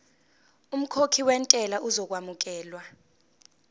umkhokhi wentela uzokwamukelwa